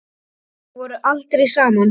Þið voruð aldrei saman.